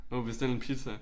Du kan bestille en pizza